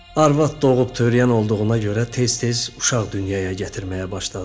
Arvad doğub törəyən olduğuna görə tez-tez uşaq dünyaya gətirməyə başladı.